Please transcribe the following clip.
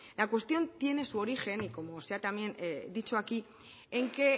la cuestión tiene su origen y como también se ha dicho aquí en que